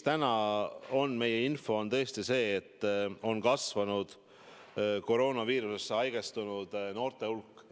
Täna on meil info tõesti see, et kroonaviirusega nakatunud noorte hulk on kasvanud.